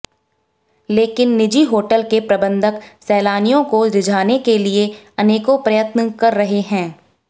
लेकिन निजी होटल के प्रबंधक सैलानियों को रिझाने के लिए अनेकों प्रयत्न कर रहे हैं